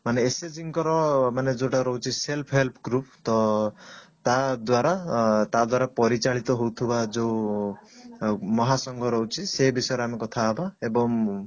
ମାନେ SHG ଙ୍କର ମାନେ ଯଉଟା ରହୁଛି self help group ତ ତା ଦ୍ଵାରା ଅ ତା ଦ୍ଵାରା ପରିଚାଳିତ ହଉଥିବା ଯଉ ମହାସଂଘ ରହୁଛି ସେ ବିଷୟରେ ଆମେ କଥା ହବା ଏବଂ